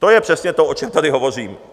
To je přesně to, o čem tady hovořím.